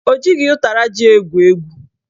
Ọ jighị ụtara ji egwu egwu